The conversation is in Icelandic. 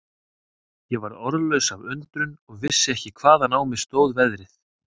Ég varð orðlaus af undrun og vissi ekki hvaðan á mig stóð veðrið.